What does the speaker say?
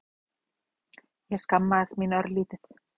Ég skammaðist mín örlítið.